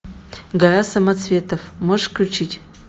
гора самоцветов можешь включить